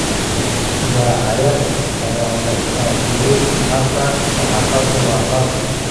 Dacaayad ayaa la faafiyay. Hadda saxaafaddu waa xor.